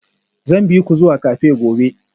Zan bi ku zuwa cafe gobe